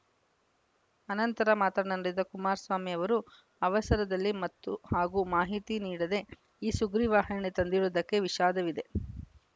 ಅನಂತರ ಮಾತನಾಡಿದ ಕುಮಾರಸ್ವಾಮಿ ಅವರು ಅವಸರದಲ್ಲಿ ಮತ್ತು ಹಾಗೂ ಮಾಹಿತಿ ನೀಡದೇ ಈ ಸುಗ್ರೀವಾಜ್ಞೆ ತಂದಿರುವುದಕ್ಕೆ ವಿಷಾದವಿದೆ